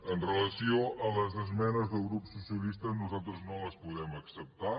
amb relació a les esmenes del grup socialista nosaltres no les podem acceptar